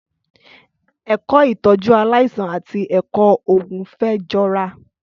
Ẹkọ ìtọjú àlàisàn àtí ẹkọ ògún fẹ jọ rà